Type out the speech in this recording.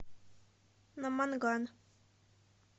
наманган